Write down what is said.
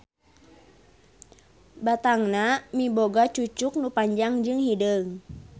Batangna miboga cucuk nu panjang jeung hideung.